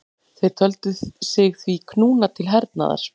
Þeir töldu sig því knúna til hernaðar.